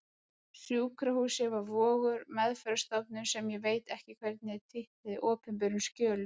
Sjúkrahúsið var Vogur, meðferðarstofnunin sem ég veit ekki hvernig er titluð í opinberum skjölum.